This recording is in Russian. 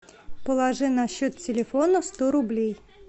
положи на счет телефона сто рублей